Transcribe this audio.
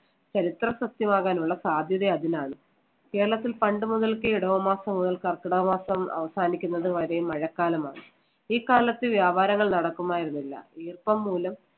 ചരിത്ര സത്യമാകാനുള്ള സാധ്യത അതിനാണ്. കേരളത്തിൽ പണ്ട് മുതൽക്കേ ഇടവമാസം മുതൽ കർക്കിടക മാസം അവസാനിക്കുന്നത് വരെ മഴക്കാലമാണ്. ഈ കാലത്ത് വ്യാപാരങ്ങൾ നടക്കുമായിരുന്നില്ല ഈർപ്പം മൂലം